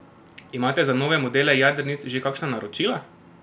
Imate za nove modele jadrnic že kakšna naročila?